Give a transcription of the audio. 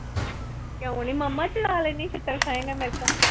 ਕਿਉ ਨੀ ਮਾਮਾ ਚਲਾ ਲੇਦੀ ਛਿਤਰ ਖਾਏਗਾ ਮੇਤੋ